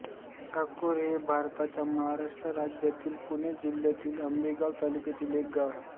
साकोरे हे भारताच्या महाराष्ट्र राज्यातील पुणे जिल्ह्यातील आंबेगाव तालुक्यातील एक गाव आहे